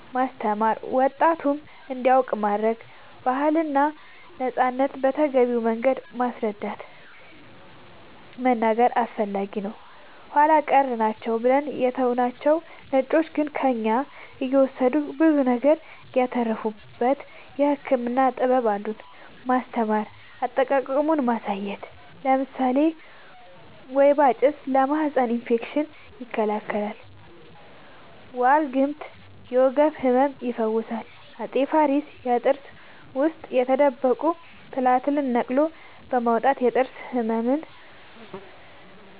ማስተማር ወጣቱም እንዲያውቅ ማረግ ባህልና ነፃነትን በተገቢው መንገድ ማስረዳት መናገር አስፈላጊ ነው ኃላ ቀር ናቸው ብለን የተውናቸው ነጮቹ ግን ከእኛ እየወሰዱ ብዙ ነገር ያተረፉበት የህክምና ጥበብ አሉን ማስተማር አጠቃቀሙን ማሳየት ለምሳሌ ወይባ ጭስ ለማህፀን እፌክሽን ይከላከላል ዋልግምት የወገብ ህመም ይፈውሳል አፄ ፋሪስ የጥርስ ውስጥ የተደበቁ ትላትልን ነቅሎ በማውጣት የጥርስ ህመምን